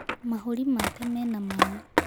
Mahũri make mena mai.